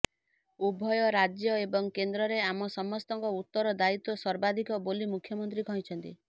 ଉଭୟ ରାଜ୍ୟ ଏବଂ କେନ୍ଦ୍ରରେ ଆମ ସମସ୍ତଙ୍କ ଉତ୍ତର ଦାୟିତ୍ୱ ସର୍ବାଧିକ ବୋଲି ମୁଖ୍ୟମନ୍ତ୍ରୀ କହିଛନ୍ତି